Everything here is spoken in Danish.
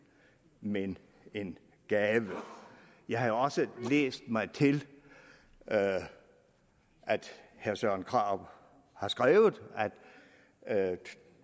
men en gave jeg har også læst mig til at herre søren krarup har skrevet at